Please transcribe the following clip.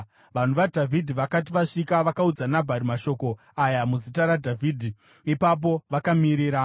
Vanhu vaDhavhidhi vakati vasvika, vakaudza Nabhari mashoko aya muzita raDhavhidhi. Ipapo vakamirira.